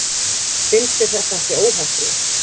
Finnst þér þetta ekki óheppilegt?